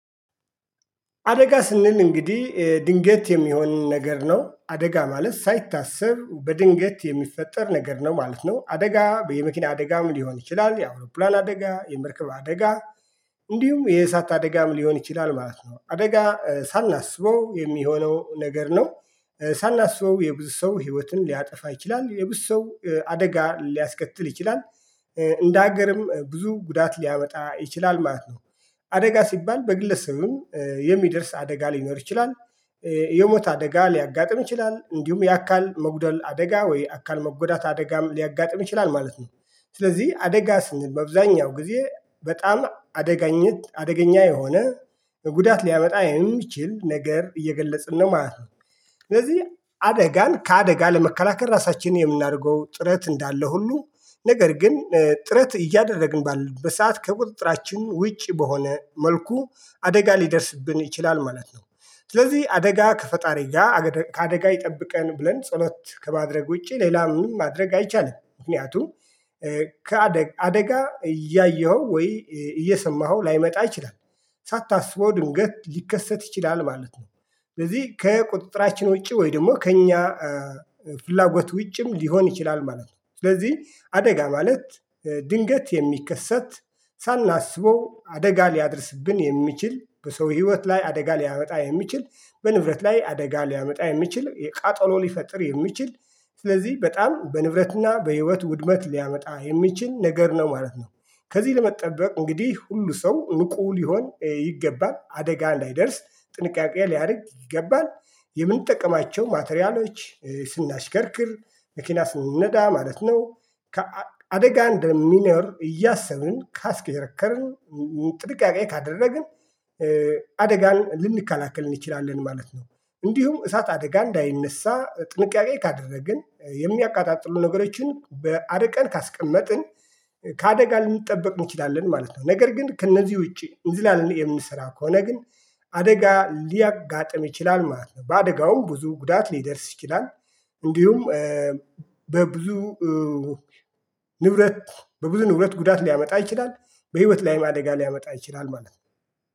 አደጋ ስንል እንግዲህ ድንገት የሚሆን ነገር ነው አደጋ ማለት ሳይታሰብ በድንገት የሚፈጠር ነገር ነው ማለት ነው አደጋ የመኪና አደጋም ሊሆን ይችላል የአውሮፕላን አደጋ የመርከብ አደጋ። እንዲሁም የእሳት አደጋም ሊሆን ይችላል ማለት ነው አደጋ ሳናስበው የሚሆነው ነገር ነው። ሳናስበው የብዙ ሰው ህይወትን ሊያጠፋ ይችላል የብዙ ሰው አደጋ ሊያስከትል ይችላል። እንደ ሀገርም ብዙ ጉዳት ሊያመጣ ይችላል ማለት ነው። አደጋ ሲባል በግለሰቡ ስሙ የሚደርስ አደጋ ሊኖር ይችላል። የሞት አደጋ ሊያጋጥም ይችላል እንዲሁም የአካል መጉደል አደጋ ወይ አካል መጎዳት አደጋም ሊያጋጥም ይችላል ማለት ነው። ስለዚህ አደጋ ስንል ባብዛኛው ጊዜ በጣም አደጋኘት አደገኛ የሆነ በጉዳት ሊያመጣ የሚችል ነገር እየገለጽን ነው ማለት ነው። ስለዚህ አደጋን ከአደጋ ለመከላከል ራሳችንን የምናደርገው ጥረት እንዳለ ሁሉ ነገር ግን ጥረት እያደረግን ባለን በሰአት ከቁጥጥራችን ውጭ በሆነ መልኩ አደጋ ሊደርስብን ይችላል ማለት ነው። ስለዚህ አደጋ ከፈጣሪ ጋር ከአደጋ ይጠብቀን ብለን ጸሎት ከማድረግ ውጪ ምን ማድረግ አይቻልም። ምክንያቱም ከአደ አደጋ እያየኸው ወይ እየሰማኸው ላይመጣ አይችልም። ሳታስበው ድንገት ሊከሰት ይችላል ማለት ነው። ስለዚህ ከቁጥጥራችን ውጪ ወይ ደግሞ ከእኛ ፍላጎት ውጪም ሊሆን ይችላል ማለት ነው። ስለዚህ አደጋ ማለት ድንገት የሚከሰት ሳናስበው አደጋ ሊያደርስብን የሚችል በሰው ህይወት ላይ አደጋ ሊያመጣ የሚችል በንብረት ላይ አደጋ ሊያመጣ የሚችል የቃጠሎ ሊፈጥር የሚችል ስለዚህ በጣም በንብረትና በህይወት ውድመት ሊያመጣ የሚችል ነገር ነው ማለት ነው። ከዚህ ለመጠበቅ እንግዲህ ሁሉ ሰው እውቁ ሊሆን ይገባል አደጋ እንይደርስ ጥንቃቄ ሊያደርግ ይገባል። የምንጠቀማቸው ማቴሪያሎች ስናሽከርክር መኪና ስንነዳ ማለት ነው። ከአደጋ እንደሚኖር እያሰብን ካስከረከርን ጥንቃቄ ካደረግን አደጋን ልንከላከል እንችላለን ማለት ነው። እንዲሁም እሳት አደጋ እንዳይነሳ ጥንቃቄ ካደረግን የሚያቃጣጥሉ ነገሮችን በአደቀን ካስቀመጥን። ከአደጋ ልንጠበቅ እንችላለን ማለት ነው። ነገር ግን ከእነዚህ ውጪ እንዝላልን የምንሰራ ከሆነ ግን አደጋ ሊያጋጥም ይችላል ማለት ነው። በአደጋውም ብዙ ጉዳት ሊደርስ ይችላል። እንዲሁም በብዙ ንብረት በብዙ ንብረት ጉዳት ሊያመጣ ይችላል። በህይወት ላይም አደጋ ሊያመጣ ይችላል ማለት ነው